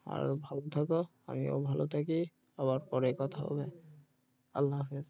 ভালো থাকো আমিও ভালো থাকি আবার পরে কথা বলবো আল্লাহ হাফেজ